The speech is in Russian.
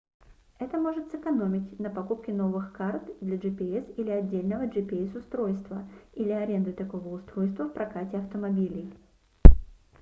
это может сэкономить на покупке новых карт для gps или отдельного gps-устройства или аренды такого устройства в прокате автомобилей